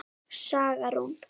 Saga Rún.